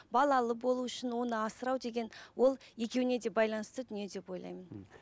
балалы болу үшін оны асырау деген ол екеуіне де байланысты дүние деп ойлаймын мхм